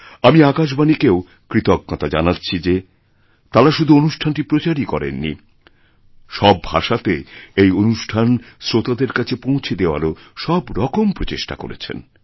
আমিআকাশবাণীকেও কৃতজ্ঞতা জানাচ্ছি যে তারা শুধু অনুষ্ঠানটি প্রচারই করেননি সব ভাষাতেএই অনুষ্ঠান শ্রোতাদের কাছে পৌঁছে দেওয়ারও সব রকম প্রচেষ্টা করেছেন